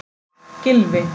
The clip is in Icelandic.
Gylfi